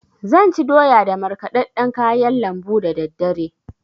Zan ci doya da markɗaɗɗan kayan lambu dadaddare.